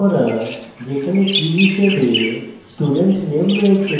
hash ঘোষিত করা যেখানে key হিসাবে student name রয়েছে